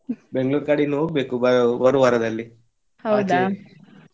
Bangalore ಕಡೆ ಇನ್ನು ಹೋಗ್ಬೇಕು ಬ~ ಬರುವ ವಾರದಲ್ಲಿ ಆಚೆ.